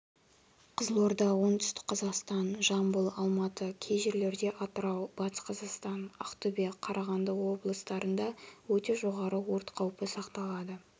қызылорда оңтүстік-қазақстан жамбыл алматы кей жерлерде атырау батыс-қазақстан ақтөбе қарағанды облыстарында өте жоғары өрт қаупі сақталады